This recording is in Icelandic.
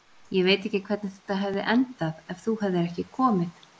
Ég veit ekki hvernig þetta hefði endað ef þú hefðir ekki komið.